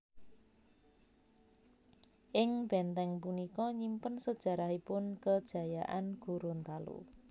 Ing bèntèng punika nyimpen sejarahipun kejayaan Gorontalo